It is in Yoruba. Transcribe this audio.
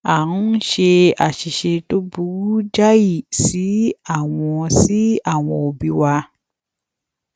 a ń ṣe àṣìṣe tó burú jáì sí àwọn sí àwọn òbí wa